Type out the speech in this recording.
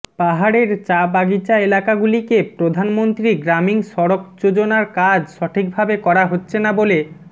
পাহাড়ের চা বাগিচা এলাকাগুলিকে প্রধানমন্ত্রী গ্রামীণ সড়ক যোজনার কাজ সঠিকভাবে করা হচ্ছে না বলে